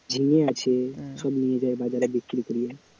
ঝিঙে আছে সব নিয়ে যাই বাজারে বিক্রী করি,